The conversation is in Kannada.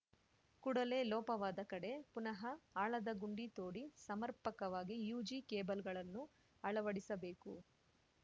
ಕೂಡಲೆ ಲೋಪವಾದ ಕಡೆ ಪುನಃ ಆಳದ ಗುಂಡಿ ತೋಡಿ ಸಮರ್ಪಕವಾಗಿ ಯುಜಿ ಕೇಬಲ್‌ಗಳನ್ನು ಅಳವಡಿಸಬೇಕು